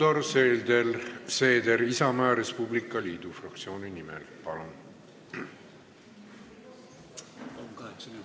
Helir-Valdor Seeder Isamaa ja Res Publica Liidu fraktsiooni nimel, palun!